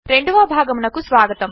రెండవ భాగమునకు స్వాగతం